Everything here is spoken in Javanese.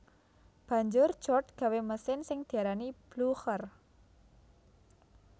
Banjur George gawé mesin sing diarani Blucher